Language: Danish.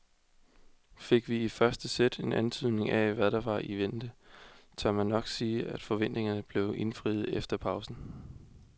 Fik vi i første sæt en antydning af hvad der var i vente, tør man nok sige at forventningerne blev indfriet efter pausen.